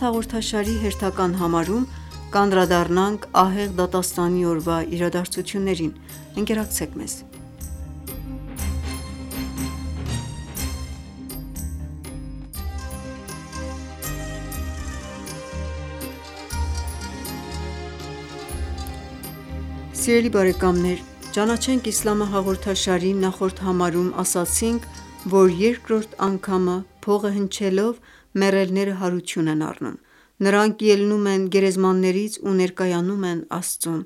հաղորդաշարի հերթական համարում կանդրադառնանք Ահեղ դատաստանի օրվա իրադարձություններին: Ողջույն թանկագին բարեկամներ: «Ճանաչենք իսլամը» հաղորդաշարի նախորդ համարում ասացինք, որ երկրորդ անգամը փողը հնչելով մեռելները հարություն են առնում: Նրանք ելնում են գերեզմաններից ու ներկայանում են Աստծուն: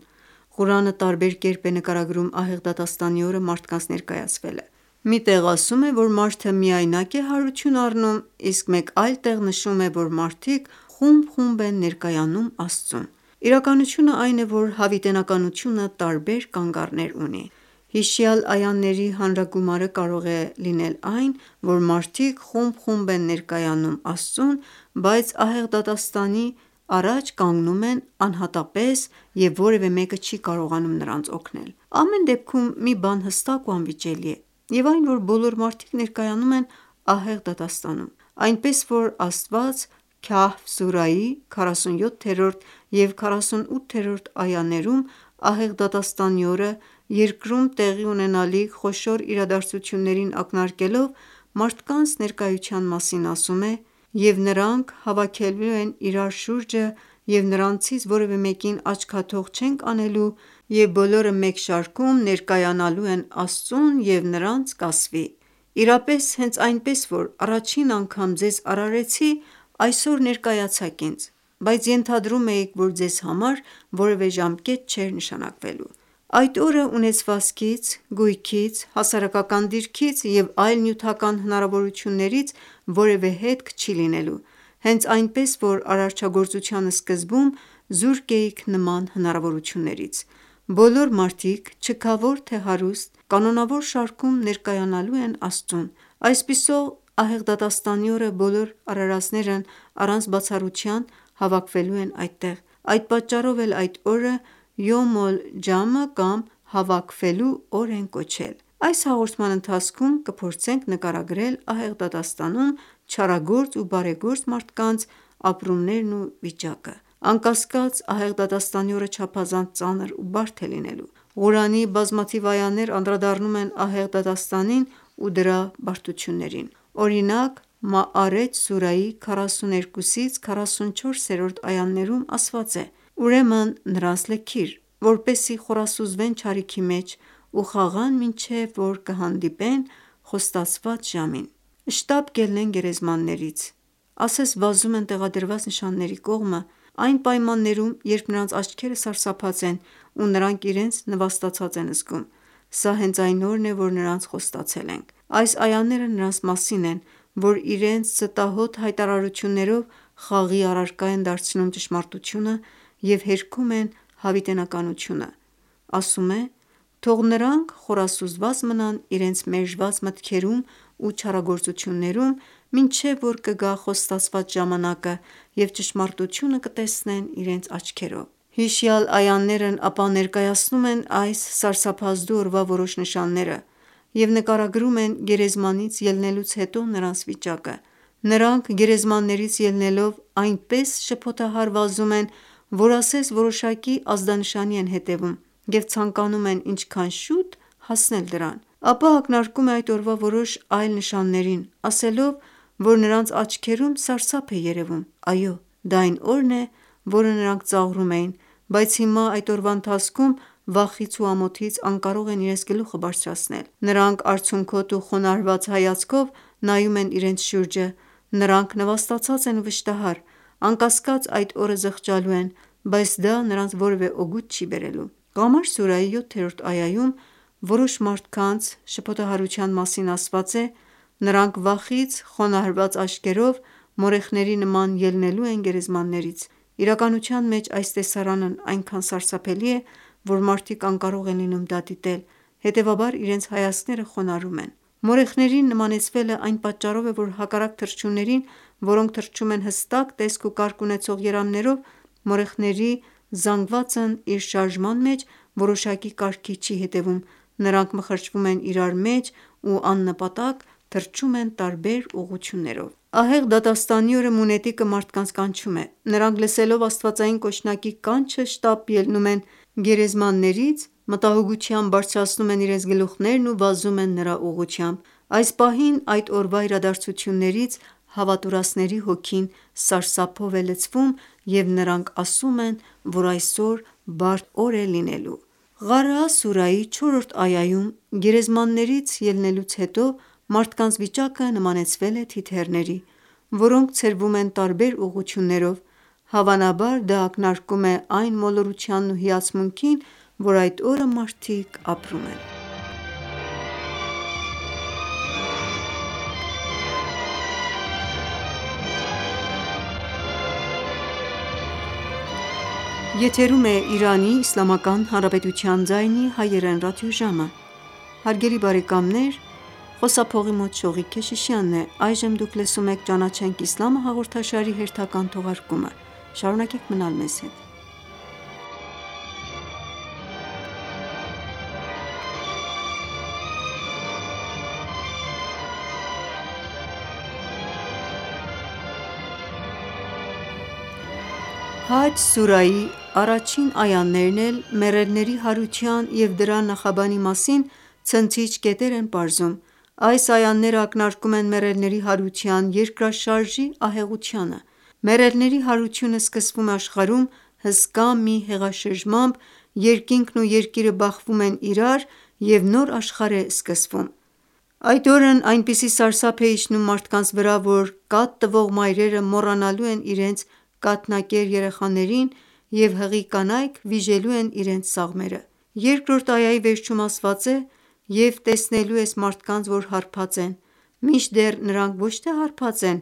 Ղուրանը տարբեր կերպ է նկարագրում ահեղ դատաստանի օրը մարդկանց ներկայացվելը: Մի տեղ ասում է, որ մարդը միայնակ է հարություն առնում, իսկ մեկ այլ տեղ նշում է, որ մարդիկ խումբ-խումբ են ներկայանում Աստծուն: Իրականությունն է այն է, որ հավիտենականությունը տարբեր կանգառներ ունի: Հիշյալ այաների հանրագումարը կարող է այն լինել, որ մարդիկ խումբ-խումբ են ներկայանում, բայց ահեղ դատաստանի առաջ կանգնում են անհատապես և որևէ մեկը չի կարողանում նրանց օգնել: Ամեն դեպքում մի բան հստակ ու անվիճելի է և այն որ բոլոր մարդիկ ներկայանում են ահեղ դատաստանում: Այնպես որ Աստված «Քահֆ» սուրայի 47-րդ և 48-րդ այաներում ահեղ դատաստանի օրը Երկրում տեղի ունենալիք խոշոր իրադարձություններին ակնարկելով, մարդկանց ներկայության մասին ասում է. «Եվ նրանց հավաքելու ենք իրար շուրջը և նրանցից որևէ մեկին աչքաթող չենք անելու և բոլորը մեկ շարքում ներկայանալու են Արարչին և նրանց կասվի. «Իրապես հենց այնպես որ առաջին անգամ ձեզ արարեցի, այսօր ներկայացաք ինձ, բայց ենթադրում էիք, որ ձեզ համար որևէ ժամկետ չէր նշանակվելու»»: Այդ օրը ունեցվածքից, գույքից, հասարակական դիրքից և այլ նյութական հնարավորություններից որևէ հետք չի լինելու, հենց այնպես որ արարչագործության սկզբում զուրկ էիք նման հնարավորություններից: Բոլոր մարդիկ՝ չքավոր, թե՝ հարուստ, կանոնավոր շարքում ներկայանալու են Աստծուն: Այսպիսով ահեղ դատաստանի օրը բոլոր արարածներն առանց բացառության հավաքվելու են այդտեղ: Այդ պատճառով էլ այդ օրը «Յում-օլ-Ջամը» կամ «Հավաքվելու օր» են կոչել: Այս հաղորդման ընթացքում կփորձենք նկարագրել ահեղ դատաստանում չարագործ ու բարեգործ մարդկանց ապրումներն ու իրավիճակը: Անկասկած ահեղ դատաստանի օրը չափազանց ծանր ու բարդ է լինելու: Ղուրանի բազմաթիվ այաներ անդրադառնում են ահեղ դատաստանին ու դրա բարդություններին: Օրինակ «Մաարեջ» սուրայի 42-ից 44-րդ այաներում ասված է. «Ուրեմն նրանց լքիր, որպեսզի խորասուզվեն չարիքի մեջ ու խաղան մինչև որ կհանդիպեն խոստացված ժամին: Շտապ կելնեն գերեզմաններից, ասես վազում են տեղադրված նշանների կողմը այն պայմաններում, երբ նրանց աչքերը սարսափած են ու նրանք իրենց նվաստացած են զգում: Սա հենց այն օրն է, որ նրանց խոստացել ենք»: Այս այաները նրանց մասին են, որ իրենց ստահոդ հայտարարություններով խաղի առարկա են դարձնում ճշմարտությունը և հերքում են հավիտենականությունը: Ասում է. «Թող նրանք խորասուզված մնան իրենց մերժված մտքերում ու չարագործություններում մինչև որ կգա խոստացված ժամանակը և ճշմարտությունը կտեսնեն իրենց աչքերով»: Հիշյալ այաներն ապա ներկայացնում են այս սարսափազդու օրվա որոշ նշանները և նկարագրում են գերեզմանից ելնելուց հետո նրանց վիճակը: Նրանք գերեզմաններից ելնելով այնպես շփոթահար վազում են, որ ասես որոշակի ազդանշանի են հետևում և ցանկանում են ինչքան շուտ հասնել դրան: Ապա ակնարկում է այդ օրվա որոշ այլ նշաններին ասելով, որ նրանց աչքերում սարսափ է երևում: Այո դա այն օրն է, որը նրանք ծաղրում էին, բայց հիմա այդ օրվա ընթացքում վախից ու ամոթից անկարող են իրենց գլուխը բարձրացնել: Նրանք արցունքոտ ու խոնարհված հայացքով նայում են իրենց շուրջը: Նրանք նվաստացած են ու վշտահար: Անկասկած այդ օրը զղջալու են, բայց դա նրանց որևէ օգուտ չի բերելու: «Ղամար» սուրայի 7-րդ այայում որոշ մարդկանց շփոթահարության մասին ասված է. «Նրանք վախից խոնարհված աչքերով մորեխների նման ելնելու են գերեզմաններից»: Իրականության մեջ այս տեսարանն այնքան սարսափելի է, որ մարդիկ անկարող են լինում դա դիտել, հետևաբար իրենց հայացքները խոնարհում են: Մորեխներին նմանեցվելն այն պատճառով է, որ հակառակ թռչուններին, որոնք թռչում են հստակ տեսք ու կարգ ունեցող երամներով, մորեխների զանգվածն իր շարժման մեջ որոշակի կարգի չի հետևում, նրանք մխրճվում են իրար մեջ ու աննպատակ թռչում են տարբեր ուղղություններով: Ահեղ դատաստանի օրը մունետիկը մարդկանց կանչում է: Նրանք լսելով աստվածային կոչնակի կանչը շտապ ելնում են գերեզմաններից, մտահոգությամբ բարձրացնում են իրենց գլուխներն ու վազում են նրա ուղղությամբ: Այս պահին այդ օրվա իրադարձություններից հավատուրացների հոգին սարսափով է լցվում և նրանք ասում են, որ այսօր բարդ օր է լինելու: «Ղարեաա» սուրայի 4-րդ այաում գերեզմաններից ելնելուց հետո մարդկանց վիճակը նմանեցվել է թիթեռների, որոնք ցրվում են տարբեր ուղղություններով: Հավանաբար դա ակնարկում է այն մոլորությանն ու հիացմունքին, որ այդ օրը մարդիկ ապրում են: «Հաջ» սուրայի առաջին այաներն էլ մեռելների հարության և դրա նախաբանի մասին ցնցիչ կետեր են պարզում: Այս այաներն ակնարկում են մեռելների հարության երկրաշարժի ահեղությանը: Մեռելների հարությունը սկսվում է աշխարհում հսկա մի հեղաշրջմամբ, երկինքն ու Երկիրը բախվում են իրար և նոր աշխարհ է սկսվում: Այդ օրն այնպիսի սարսափ է իջնում մարդկանց վրա, որ կաթ տվող մայրերը մոռանալու են իրենց կաթնակեր երեխաներին և հղի կանայք վիժելու են իրենց սաղմերը: 2-րդ այայի վերջում ասված է. «Եվ տեսնելու ես մարդկանց որ հարբած են, մինչդեռ նրանք ոչ թե հարբած են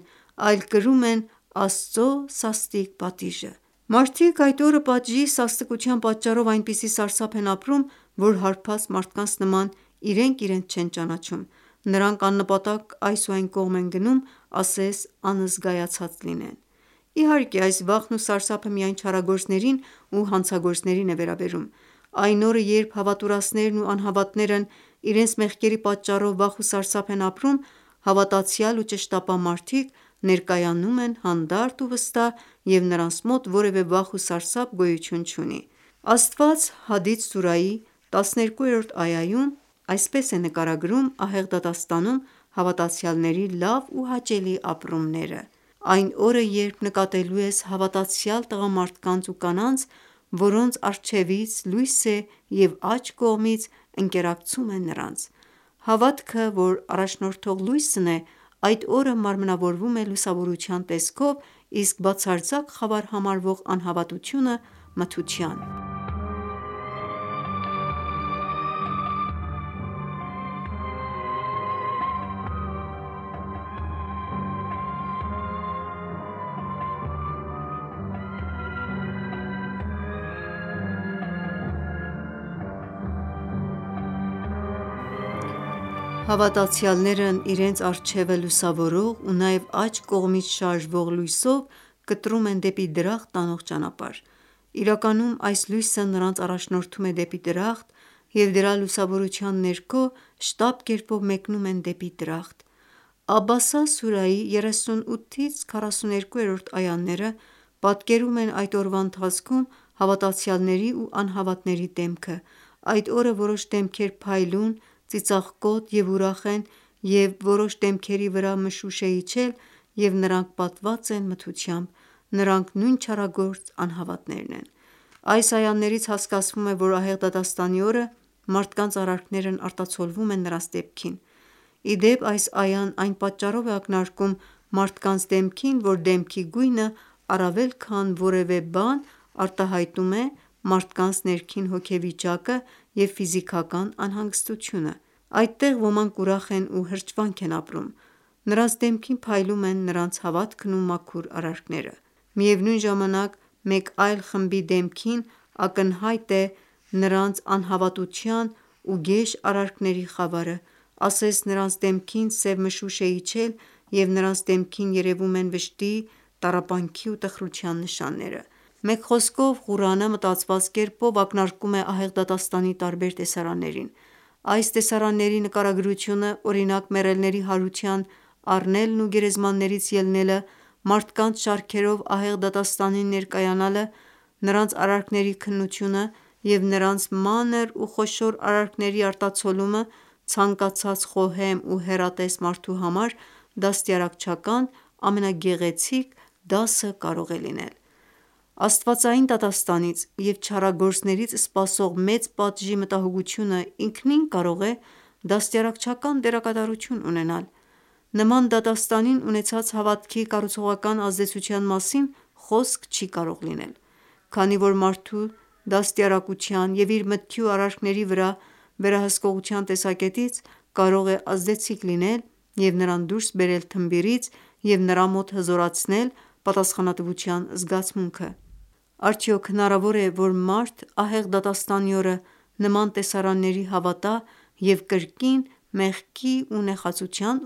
այլ կրում են Աստծո սաստիկ պատիժը»: Մարդիկ այդ օրը պատժի սաստկության պատճառով այնպիսի սարսափ են ապրում, որ հարբած մարդկանց նման իրենք իրենց չեն ճանաչում: Նրանք աննպատակ այս ու այն կողմ են գնում, ասես անզգայացած լինեն: Իհարկե այս վախն ու սարսափը միայն չարագործներին ու հանցագործներին է վերաբերում: Այն օրը երբ հավատուրացներն ու անհավատներն իրենց մեղքերի պատճառով վախ ու սարսափ են ապրում, հավատացյալ ու ճշտապահ մարդիկ ներկայանում են հանդարտ ու վստահ և նրանց մոտ որևէ վախ ու սարսափ գոյություն չունի: Աստված «Հադիդ» սուրայի 12-րդ այաում այսպես է նկարագրում ահեղ դատաստանում հավատացյալների լավ ու հաճելի ապրումները. «Այն օրը երբ նկատելու ես հավատացյալ տղամարդկանց ու կանանց, որոնց առջևից լույս է և աջ կողմից ընկերակցում է նրանց»: Հավատքը որ առաջնորդող լույսն է այդ օրը մարմնավորվում է լուսավորության տեսքով, իսկ բացարձակ խավար համարվող անհավատությունը՝ մթության: Հավատացյալներն իրենց առջևը լուսավորող ու նաև աջ կողմից շարժվող լույսով կտրում են դեպի դրախտ տանող ճանապարհ: Իրականության մեջ այս լույսը նրանց առաջնորդում է դեպի դրախտ և դրա լուսավորության ներքո շտապ կերպով մեկնում են դեպի դրախտ: «Աբասա» սուրայի 38-ից 42-րդ այաները պատկերում են այդ օրվա ընթացքում հավատացյալների ու անհավատների դեմքը: «Այդ օրը որոշ դեմքեր փայլուն, ծիծաղկոտ ու ուրախ են և որոշ դեմքերի վրա մշուշ է իջել և նրանք պատված են մթությամբ: Նրանք նույն չարագործ անհավատներն են»: Այս այաներից հասկացվում է, որ ահեղ դատաստանի օրը մարդկանց արարքներն արտացոլվում են նրանց դեմքին: Ի դեպ, այս այան այն պատճառով է ակնարկում մարդկանց դեմքին, որ դեմքի գույնը առավել քան որևէ բան արտահայտում է մարդկանց ներքին հոգեվիճակը կամ ֆիզիկական անհանգստությունը: Այդտեղ ոմանք ուրախ են ու հրճվանք են ապրում: Նրանք դեմքին փայլում են նրանց հավատքն ու մաքուր արարքները: Միևնույն ժամանակ մեկ այլ խմբի դեմքին ակնհայտ է նրանց անհավատության ու գեշ արարքների խավարը: Ասես նրանց դեմքին սև մշուշ է իջել և նրանց դեմքին երևում են վշտի, տառապանքի ու տխրության նշանները: Մեկ խոսքով Ղուրանը մտածված կերպով ակնարկում է ահեղ դատաստանի տարբեր տեսարաններին: Այս տեսարանների նկարագրությունը, օրինակ մեռելների հարություն առնելն ու գերեզմաններից ելնելը, մարդկանց շարքերով ահեղ դատաստանին ներկայանալը, նրանց արարքների քննությունը և նրանց մանր ու խոշոր արարքների արտացոլումը ցանկացած խոհեմ ու հեռատես մարդու համար դաստիարակչական ամենագեղեցիկ դասը կարող է լինել: Աստվածային դատաստանից և չարագործներից սպասող մեծ պատժի մտահոգությունը ինքնին կարող է դաստիարակչական դերակատարություն ունենալ: Նման դատաստանին ունեցած հավատքի կառուցողական ազդեցության մասին խոսք չի կարող լինել: Քանի որ մարդու դաստիարակության և իր մտքի ու արարքների վրա վերահսկողության տեսակետից կարող է ազդեցիկ լինել և նրան դուրս բերել թմբիրից և նրա մոտ հզորացնել պատասխանատվության զգացմունքը: Արդյոք հնարավոր է, որ մարդ ահեղ դատաստանի օրը նման տեսարանների հավատա և կրկին մեղքի ու նեխածության